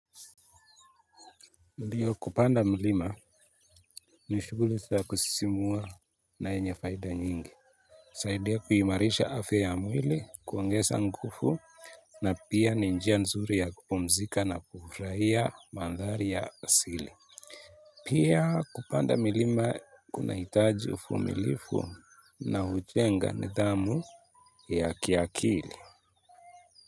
Ndiyo kupanda milima ni shuguli za kusisimua na yenye faida nyingi husaidia kuimarisha afya ya mwili kuongeza nguvu na pia ni njia nzuri ya kupumzika na kufurahia mandhari ya asili pia kupanda milima kuna hitaji uvumilivu na hujenga nidhamu ya kiakili.